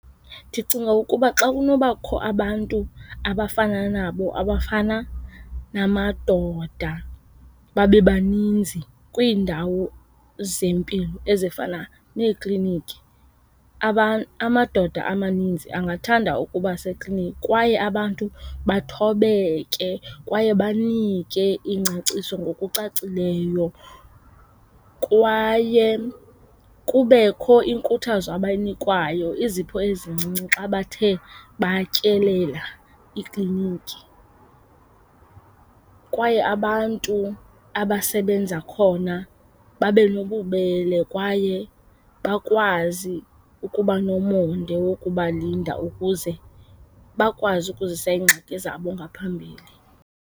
Ndicinga ukuba xa kunobakho abantu abafana nabo abafana namadoda babe baninzi kwiindawo zempilo ezifana neekliniki, amadoda amaninzi angathanda ukuba seklinikhi. Kwaye abantu bathobeke kwaye banike ingcaciso ngokucacileyo. Kwaye kubekho inkuthazo abayinikwayo, izipho ezincinci xa bathe batyelela ikliniki. Kwaye abantu abasebenza khona babe nobubele kwaye bakwazi ukuba nomonde wokubalinda ukuze bakwazi ukuzisa iingxaki zabo ngaphambili.